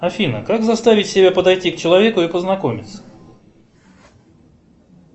афина как заставить себя подойти к человеку и познакомиться